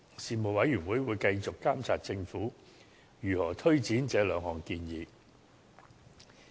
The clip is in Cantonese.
事務委員會會繼續監察政府如何推展這兩項建議。